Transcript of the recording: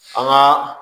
An ka